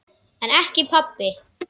En ekki pabbi.